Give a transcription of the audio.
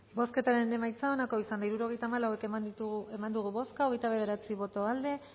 bozketaren emaitza onako izan da hirurogeita hamalau eman dugu bozka hogeita bederatzi boto aldekoa